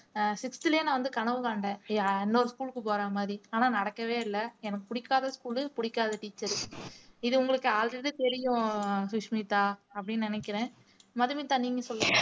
ஆஹ் sixth லயே நான் வந்து கனவு கண்டேன் இன்னொரு school க்கு போற மாதிரி ஆனால் நடக்கவே இல்லை எனக்கு பிடிக்காத school பிடிக்காத teacher உ இது உங்களுக்கு already தெரியும் சுஷ்மிதா அப்படின்னு நினைக்கிறேன் மதுமிதா நீங்க சொல்லுங்க